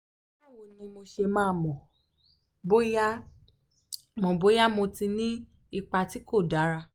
báwo ni mo ṣe máa mọ̀ bóyá mo bóyá mo ti ní ipa tí kò dára?